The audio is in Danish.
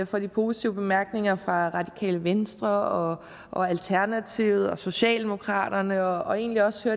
for de positive bemærkninger fra radikale venstre og alternativet og socialdemokraterne og egentlig også